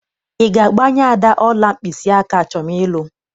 Ị ga-agbanye Ada ọla mkpịsịaka achọm ịlụ?